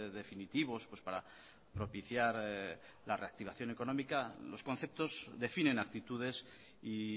definitivos para propiciar la reactivación económica los conceptos definen actitudes y